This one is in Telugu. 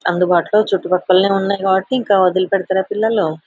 అందుబాటులో చుటుపక్కలనే ఉన్నాయి కాబట్టి ఇంకా వొదిలి పెడతారా పిల్లలు.